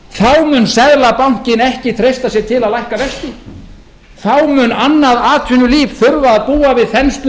ári þá mun seðlabankinn ekki treysta sér til að lækka vexti þá mun annað atvinnulíf þurfa að búa við þenslu